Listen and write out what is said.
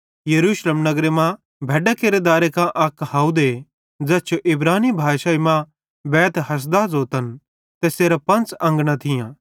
यरूशलेम नगरे मां भैड्डां केरे दारे कां अक हावदे ज़ैस जो इब्रानी भाषाई मां बैतहसदा ज़ोतन तैसेरां पंच़ अंगना थियां